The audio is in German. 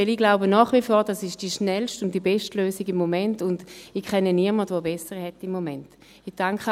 Denn ich glaube nach wie vor, dass dies im Moment die schnellste und die beste Lösung ist, und ich kenne niemanden, der im Moment eine bessere hätte.